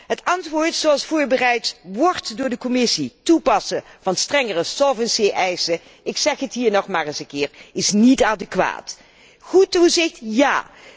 Het antwoord zoals dat voorbereid wordt door de Commissie toepassen van strengere solvency eisen, is ik zeg het hier nog maar eens een keer niet adequaat. Goed toezicht ja!